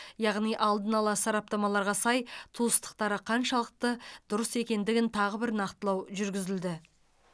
яғни алдын ала сараптамаларға сай туыстықтары қаншалықты дұрыс екендігін тағы бір нақтылау жүргізілді